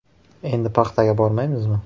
“Endi paxtaga bormaymizmi?